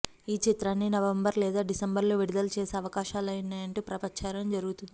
ఈ చిత్రాన్ని నవంబర్ లేదా డిసెంబర్లో విడుదల చేసే అవకాశాలున్నాయంటూ ప్రచారం జరుగుతుంది